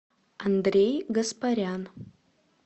андрей гаспарян